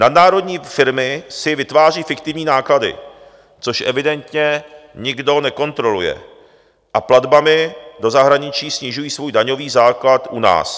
Nadnárodní firmy si vytvářejí fiktivní náklady, což evidentně nikdo nekontroluje, a platbami do zahraničí snižují svůj daňový základ u nás.